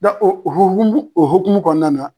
Dɔn o hokumu o hokumu kɔnɔna na